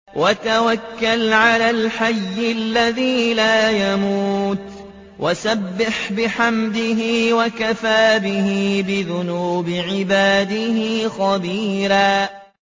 وَتَوَكَّلْ عَلَى الْحَيِّ الَّذِي لَا يَمُوتُ وَسَبِّحْ بِحَمْدِهِ ۚ وَكَفَىٰ بِهِ بِذُنُوبِ عِبَادِهِ خَبِيرًا